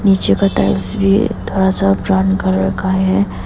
पीछे का टाइल्स भी थोड़ा सा ब्राउन कलर का है।